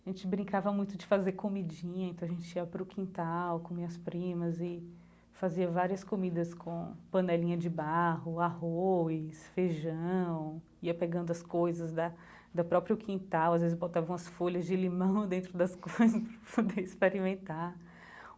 A gente brincava muito de fazer comidinha, então a gente ia pro quintal com minhas primas e fazia várias comidas com panelinha de barro, arroz, feijão, ia pegando as coisas da do próprio quintal, às vezes botava umas folhas de limão dentro das coisas pra poder experimentar.